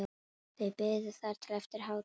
Þau biðu þar til eftir hádegi.